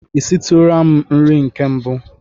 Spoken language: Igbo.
I sitụrụla m nri nke mbụ?